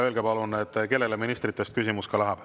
Öelge palun ka, kellele ministritest küsimus läheb.